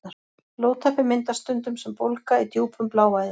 Blóðtappi myndast stundum sem bólga í djúpum bláæðum.